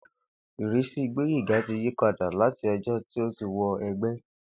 Ìrísí Gbóyèga ti yí padà láti o̩jó̩ tí ó ti wo̩ e̩gbé̩